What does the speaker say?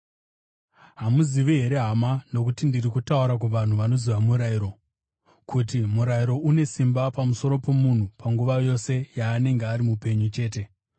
Hamuzivi here, hama, nokuti ndiri kutaura kuvanhu vanoziva murayiro, kuti murayiro une simba pamusoro pomunhu panguva yose yaanenge ari mupenyu chete?